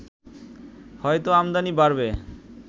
হয়তো আমদানি বাড়বে